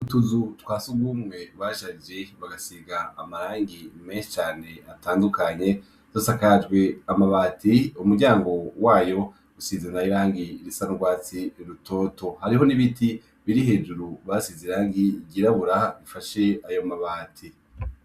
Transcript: Utuzu twa sugumwe basharije bagasiga amarangi menshi cane atandukanye usanga dusakajwe amabati umuryango nawo wayo usize nayo irangi risa n'urwatsi rutoto, hariho n'ibiti biri hejuru basize irangi ryirabura bifashe ayo mabati.